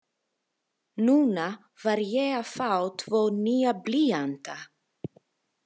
Núna var ég að fá tvo nýja blýanta.